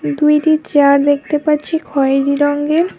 দুইটি জার দেখতে পাচ্ছি খয়রি রঙ্গের ।